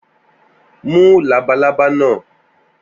Mú labalába náà!